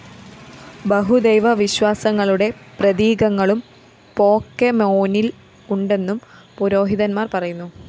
ബഹുദൈവ വിശ്വാസങ്ങളുടെ പ്രതീകങ്ങളും പോക്കെമോനില്‍ ഉണ്ടെന്നും പുരോഹിതന്മാര്‍ പറയുന്നു